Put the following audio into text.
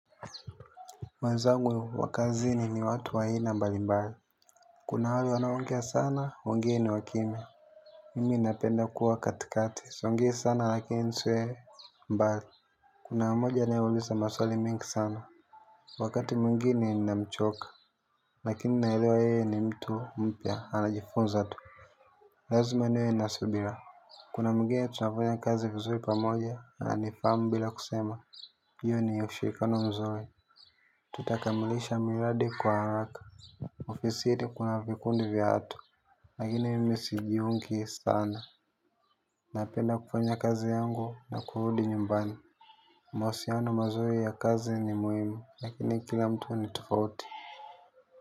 Mwenzangu wakazini ni watu wa aina mbali mbali. Kuna wale wanaongea sana, wengine wakimya. Mimi napenda kuwa wakatikati, siongei sana lakini nsiwe mbali. Kuna mabo yanayo uliza maswali mingi sana. Wakati mwingine inamchoka, lakini naelewa yeye ni mtu mpya, anajifunza tu. Lazima niwe nasubira. Kuna mwingine tunafanya kazi vizuri pamoja, ananifahamu bila kusema, hiyo ni ushirikano mzuri. Tutakamilisha miradi kwa haraka. Ofisini kuna vikundi vya watu. Na igine mimi sijiungi sana. Napenda kufanya kazi yangu na kurudi nyumbani. Mahusiano mazuri ya kazi ni muhimu. Lakini kila mtu ni tofauti.